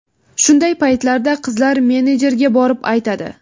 Shunday paytlarda qizlar menejerga borib aytadi.